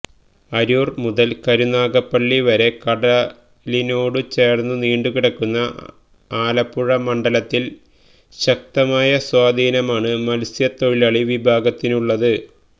അരൂർ മുതൽ കരുനാഗപ്പള്ളി വരെ കടലിണോടു ചേർന്നു നീണ്ടുകിടക്കുന്ന ആലപ്പുഴ മണ്ഡലത്തിൽ ശക്തമായ സ്വാധീനമാണ് മത്സ്യത്തൊഴിലാളി വിഭാഗത്തിനുള്ളത്